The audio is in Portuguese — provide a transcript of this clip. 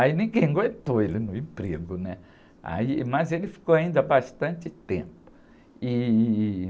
Aí ninguém aguentou ele no emprego, né? Aí, mas ele ficou ainda bastante tempo. E...